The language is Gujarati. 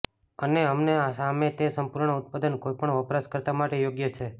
અને અમને સામે તે સંપૂર્ણ ઉત્પાદન કોઇપણ વપરાશકર્તા માટે યોગ્ય છે